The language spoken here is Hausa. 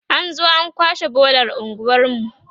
an zo an kwashe bolar unguwarmu